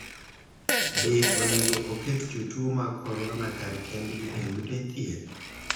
Be onego oket jotuo mag corona kar kendgi e ute thieth?